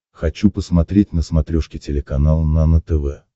хочу посмотреть на смотрешке телеканал нано тв